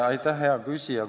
Aitäh, hea küsija!